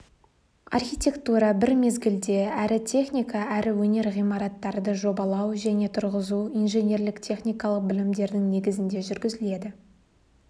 архитектура бір мезгілде әрі техника әрі өнер ғимараттарды жобалау және тұрғызу инженерлік техникалық білімдердің негізінде жүргізіледі